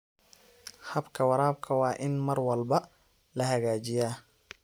Habka waraabka waa in mar walba la hagaajiyaa.